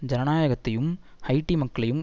ஜனநாயகத்தையும் Haiti மக்களையும்